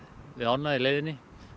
við ána í leiðinni